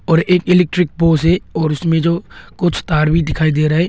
और एक electric pole है और उसमें जो कुछ तार भी दिखाई दे रहे है।